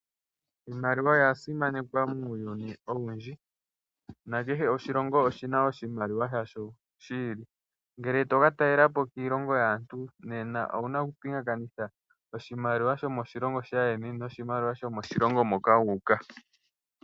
Iimaliwa oya simanekwa muuyuni. Kehe oshilongo oshi na oshimaliwa shasho shi ili. Ngele to ka talelapo kiilongo yaantu nena owu na okupingakanitha oshimaliwa shomoshilongo shaayeni noshimaliwa shomoshilongo moka wu uka.